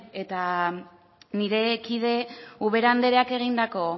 nire kide den ubera andereak egindako